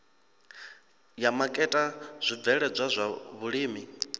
ya maketa zwibveledzwa zwa vhulimi